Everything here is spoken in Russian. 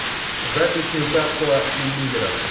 запись ньюкасла и ливера